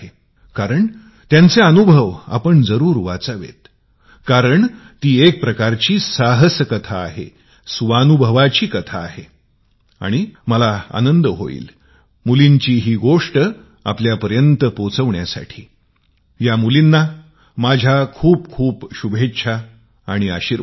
कारण त्यांचे अनुभव आपण जरूर वाचावेत कारण ती एकाप्रकारची साहस कथा आहे स्वानुभवाची कथा आहे आणि मला आनंद होईल या मुलींची गोष्ट आपल्यापर्यंत पोहचविल्यास माझ्या या मुलींना खूप खूप शुभेच्छा आणि आशीर्वाद